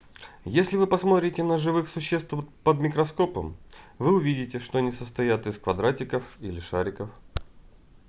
если вы посмотрите на живых существ под микроскопом вы увидите что они состоят из квадратиков или шариков